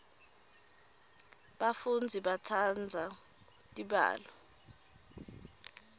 bafundzi batsandza tibalo